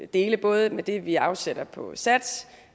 dele både det vi afsætter på sats